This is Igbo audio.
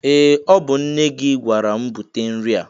Ee! Ọ bụ nne gị gwara m bute nri a.